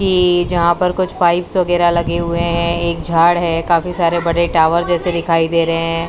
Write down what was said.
ये जहां पर कुछ पाइप्स वगैरा लगे हुए है एक झाड है काफी सारे बड़े टावर जैसे दिखाई दे रहे हैं।